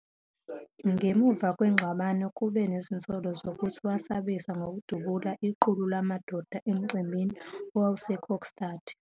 Ngemuva kwengxabano kube nezinsolo zokuthi wasabisa ngokudubula iqulu lamadoda emcimbini owawuseKokstad.